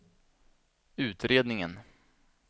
utredningen